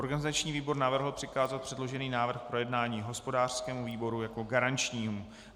Organizační výbor navrhl přikázat předložený návrh k projednání hospodářskému výboru jako garančnímu.